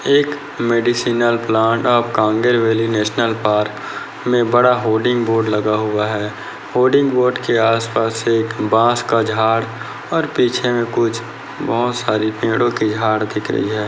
एक medicinal plants of Kanger valley national park में बड़ा होर्डिंग बोर्ड लगा हुआ है होर्डिंग बोर्ड के आस-पास एक बास का झाड़ और पीछे में कुछ बहुत सारी पेड़ो की झाड़ दिख रही है।